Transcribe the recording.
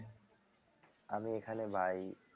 আমি এখানে ভাই